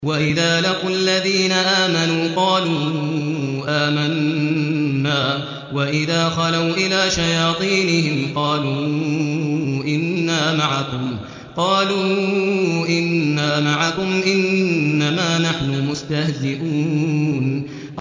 وَإِذَا لَقُوا الَّذِينَ آمَنُوا قَالُوا آمَنَّا وَإِذَا خَلَوْا إِلَىٰ شَيَاطِينِهِمْ قَالُوا إِنَّا مَعَكُمْ إِنَّمَا نَحْنُ مُسْتَهْزِئُونَ